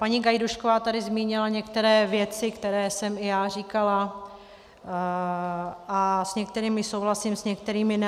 Paní Gajdůšková tady zmínila některé věci, které jsem i já říkala, a s některými souhlasím, s některými ne.